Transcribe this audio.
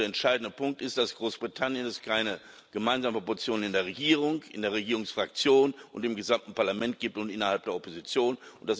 Der entscheidende Punkt ist, dass es in Großbritannien keine gemeinsame Position in der Regierung, in der Regierungsfraktion und im gesamten Parlament und innerhalb der Opposition gibt.